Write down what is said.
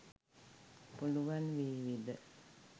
පුලුවන් වේවිද?